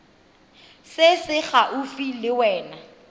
se se gaufi le wena